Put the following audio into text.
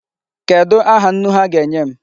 Kedụ aha nnu ha ga-enye m?